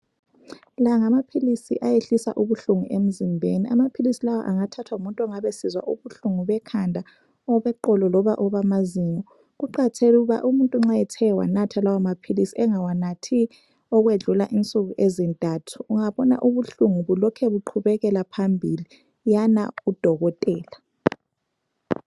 La ngamaphilisi ayehlisa ubuhlungu emzimbeni amaphilisi lawa angathathwa ngumuntu ongabe esizwa ubuhlungu bekhanda, obeqolo loba obamazinyo. Kuqakathekile ukuba umuntu nxa ethe wanatha lawa maphilisi engawanathi okwedlula insuku ezintathu, ungabona ubuhlungu lokhe buqhubekela phambili yana kudokotela.